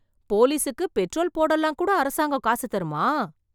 போலீசுக்கு பெட்ரோல் போடலாம் கூட அரசாங்கம் காசு தருமா?